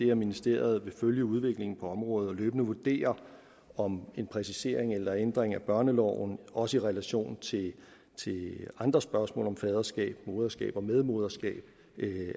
at ministeriet vil følge udviklingen på området og løbende vurdere om en præcisering eller ændring af børneloven også i relation til andre spørgsmål om faderskab moderskab og medmoderskab